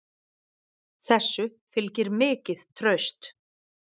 Þessu fylgir mikið traust